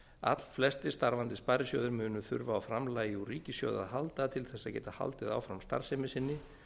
allflestir starfandi sparisjóðir munu þurfa á framlagi úr ríkissjóði að halda til þess að geta haldið áfram starfsemi sinni